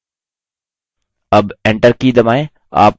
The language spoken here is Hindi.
अब enter की दबाएँ